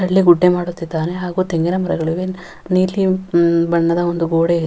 ಅಲ್ಲೇ ಗುಡ್ಡೆ ಮಾಡುತ್ತಿದ್ದಾನೆ ಹಾಗು ತೆಂಗಿನ ಮರಗಳಿವೆ. ನೀಲಿ ಮ್ ಬಣ್ಣದ ಒಂದು ಗೋಡೆ --